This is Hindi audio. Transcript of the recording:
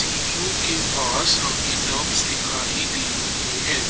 टीबीओ के पास दिखाई दे रहे है।